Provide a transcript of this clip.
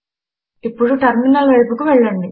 ఇప్పుడు టర్మినల్ వైపుకు వెళ్ళండి